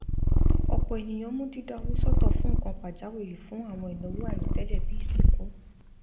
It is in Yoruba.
ọpọ ènìyàn mú dídá owó sọtọ fún nnkan pàjáwìrì fún àwọn ìnáwó àìròtẹlẹ bíi ìsìnkú